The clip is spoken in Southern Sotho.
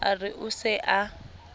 a re o se a